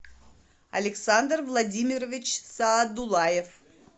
александр владимирович саадулаев